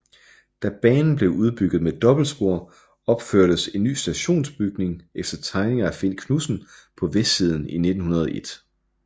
Da banen blev udbygget med dobbeltspor opførtes en ny stationsbygning efter tegninger af Finn Knudsen på vestsiden i 1901